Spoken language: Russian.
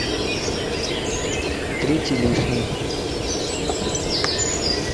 третий лишний